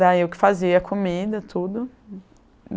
Daí eu que fazia comida, tudo.